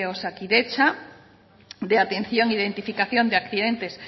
osakidetza de atención de identificación de accidentes